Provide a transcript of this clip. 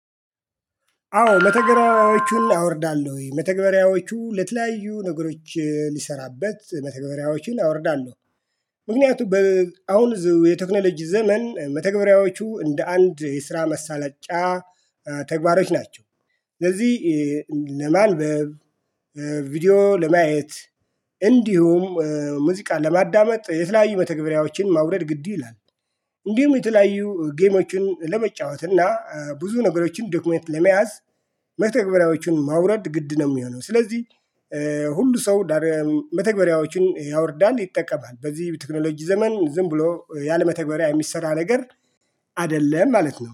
አዎ መተግበሪያዎቹን አወርዳለሁ ወይ መተግበሪያዎቹ ለተለያዩ ነገሮች ሊሰራበት መተግበሪያዎችን አወርዳለሁ። ምክንያቱም አሁን የቴክኖሎጂ ዘመን መተግበሪያዎቹ እንደ አንድ የስራ መሳለጫ ተግባሮች ናቸው ለዚህ ለማን? ቪዲዮ ለማየት እንዲሁም ሙዚቃን ለማዳመጥ የተለያዩ በተግባሪያዎችን ማውረድ ግድ ይላል። እንዲሁም የተለያዩ ጌሞችን ለመጫወት እና ብዙ ነገሮችን ዶክመንት ለመያዝ መተግበሪያዎችን ማውረድ ግድ ነው የሚሆነው። ስለዚህ ሁሉ ሰው መተግበሪያዎችን ያወርዳል ይጠቀማል በዚህ ቴክኖሎጂ ዘመን ዝም ብሎ ያለመተግበሪያ የሚሰራ ነገር አይደለም ማለት ነው